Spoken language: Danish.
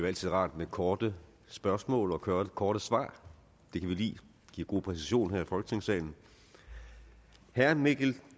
altid rart med korte spørgsmål og korte korte svar det kan vi lide det giver god præcision her i folketingssalen herre mikkel